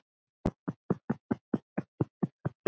og allt var í myrkri.